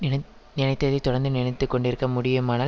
நினைத் நினைத்ததை தொடர்ந்து நினைத்து கொண்டிருக்க முடியுமானால்